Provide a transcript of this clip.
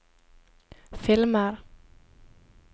filmer